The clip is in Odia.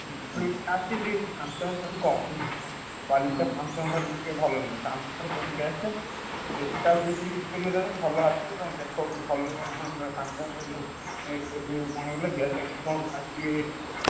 ଆସୁଛି Samsung ଠାରୁ କମ୍ ବୁଝିଲୁ। Samsung ଠାରୁ ଟିକେ ବ ଭଲ ନୁହେଁ। Samsung ସବୁଠାରୁ best ଏଇଟା ବି ଯଦି ଭଲ ଅଛି ତମେ ଦେଖ କୋଉଠି ଭଲ Samsung ଏ ଯୋଉ କଣ ହଉଥିଲା Galaxy କଣ ଆସୁଚି ।